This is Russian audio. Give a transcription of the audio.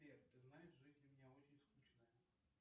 сбер ты знаешь жизнь у меня очень скучная